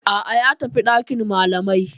A'a, ya tafi dakin malamai.